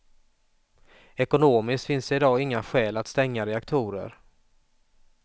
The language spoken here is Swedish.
Ekonomiskt finns det i dag inga skäl att stänga reaktorer.